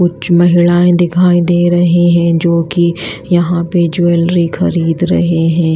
कुछ महिलाएं दिखाई दे रही हैं जो कि यहां पे ज्वेलरी खरीद रहे हैं।